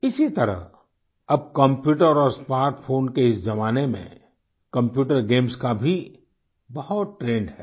इसी तरह अब कंप्यूटर और स्मार्टफ़ोन के इस जमाने में कंप्यूटर गेम्स का भी बहुत ट्रेंड है